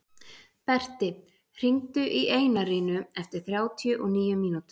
Berti, hringdu í Einarínu eftir þrjátíu og níu mínútur.